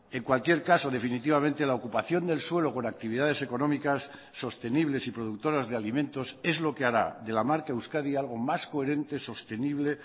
en cualquier caso definitivamente la ocupación del suelo con actividades económicas sostenibles y productoras de alimentos es lo que hará de la marca euskadi algo más coherente sostenible